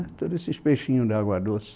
É, né, todos esses peixinhos de água doce.